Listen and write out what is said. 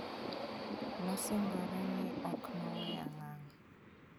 Nosingore ni ok noweya ngang'.